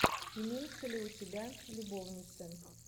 имеется ли у тебя любовницы